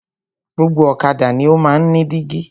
Gbogbo ọ̀kadà ni o máa ń ní dígí.